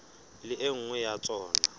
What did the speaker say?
le e nngwe ya tsona